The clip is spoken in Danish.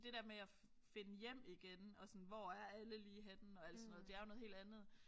Det der med at finde hjem igen og sådan hvor er alle lige henne og alt sådan noget det er jo noget helt andet